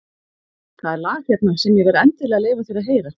Það er lag hérna sem ég verð endilega að leyfa þér að heyra.